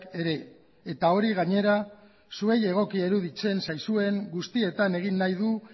ere eta hori gainera zuei egokia iruditzen zaizuen guztietan egin nahi du